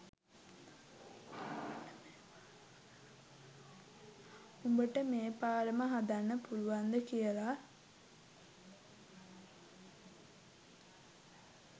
උඹට මේ පාලම හදන්න පුළුවන්ද කියලා.